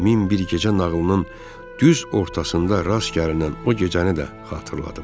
Min bir gecə nağılının düz ortasında rast gəlinən o gecəni də xatırladım.